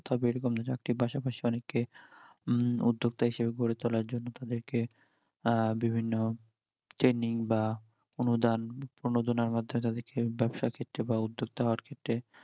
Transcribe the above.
তবে এরকম চাকরির পাশাপাশি অনেককে উম উদ্যোক্তা হিসেবে গড়ে তোলার জন্য তাদের উম কে বিভিন্ন training বা অনুদান প্রণোদনের মাধ্যমে তাদের কে ব্যাবসার ক্ষেত্রে বা উদ্যোক্তা হওয়ার ক্ষেত্রে